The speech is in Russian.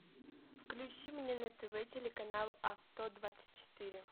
включи мне на тв телеканал авто двадцать четыре